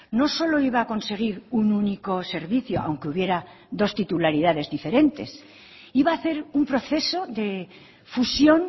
no solo iba a conseguir un único servicio aunque hubiera dos titularidades diferentes iba a hacer un proceso de fusión